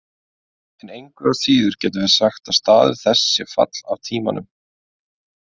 En engu að síður getum við sagt að staður þess sé fall af tímanum: